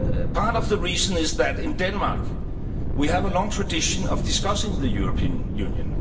Part of the reason is that in Denmark, we have a long tradition of discussing the European Union.